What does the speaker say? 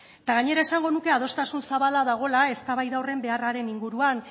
eta gainera esango nuke adostasun zabala dagoela eztabaida horren beharraren inguruak